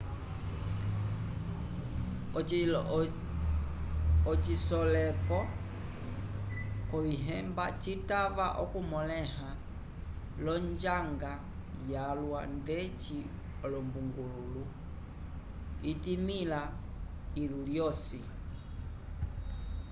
ocisoleko c'ovihemba citava okumõleha l'onjanga yalwa ndeci olumbungululu itimĩha ilu lyosi